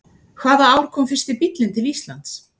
Hvaða ár kom fyrsti bíllinn til Íslands?